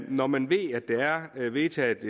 når man ved at der er vedtaget